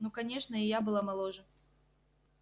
ну конечно и я была моложе